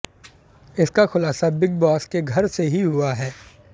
इसका खुलासा big boss के घर से ही हुआ है